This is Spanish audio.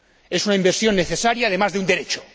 Es una inversión necesaria, además de un derecho.